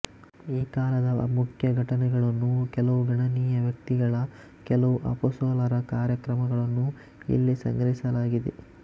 ಆ ಕಾಲದ ಮುಖ್ಯ ಘಟನೆಗಳನ್ನೂ ಕೆಲವು ಗಣನೀಯ ವ್ಯಕ್ತಿಗಳ ಕೆಲವು ಅಪೋಸಲರ ಕಾರ್ಯಕರ್ಮಗಳನ್ನೂ ಇಲ್ಲಿ ಸಂಗ್ರಹಿಸಲಾಗಿದೆ